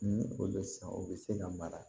Ni o bɛ san o bɛ se ka mara